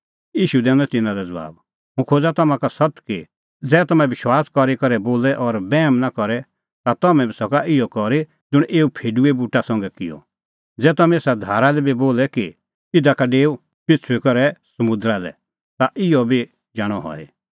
ईशू दैनअ तिन्नां लै ज़बाब हुंह खोज़ा तम्हां का सत्त कि ज़ै तम्हैं विश्वास करी करै बोले और बैहम नां करे ता तम्हैं सका इहअ करी ज़ुंण एऊ फेडूए बूटा संघै किअ ज़ै तम्हैं एसा धारा लै बी बोले कि इधा का डेऊ पेछ़ुई करै समुंदरा लै ता इहअ बी जाणअ हई